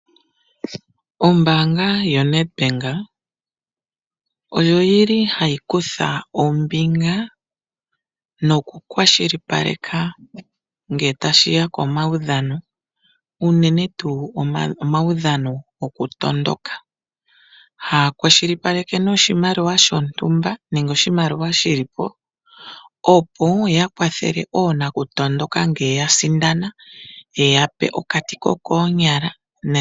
Ombaanga yoNEDBANK oyo yili hayi kutha ombinga noku kwashilipaleka ngele tashiya komaudhano unene tuu omaudhano goku tondoka, haa kwashilipaleke noshimaliwa shontumba nenge oshimaliwa shili po opo ya kwathele oonakutondoka ngee ya sindana, yeya pe okati kokoonyala.